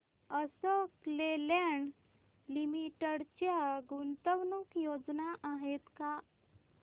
Ashok Leyland limited च्या गुंतवणूक योजना आहेत का